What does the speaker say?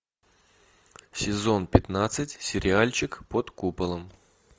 сезон пятнадцать сериальчик под куполом